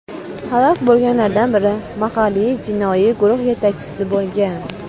Halok bo‘lganlardan biri mahalliy jinoiy guruh yetakchisi bo‘lgan.